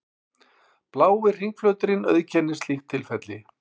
Blái hringflöturinn auðkennir slíkt tilfelli.